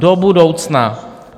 Do budoucna!